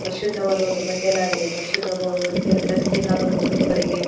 ಪರಿಶುದ್ಧವಾದ ಒಂದು ಬಟ್ಟೆಯನ್ನಾಗಲಿ ಪರಿಶುದ್ಧವಾದ ವ್ಯಕ್ತಿಯನ್ನು ಧರಿಸಬೇಕಾದ ಒಂದು ಉಡುಪುಗಳಿಗೆ.